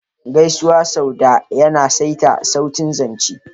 Gaisuwa sau da yana saita sautin zance.